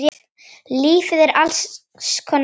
Lífið er alls konar grámi.